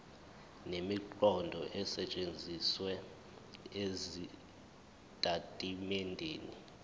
nemiqondo esetshenzisiwe ezitatimendeni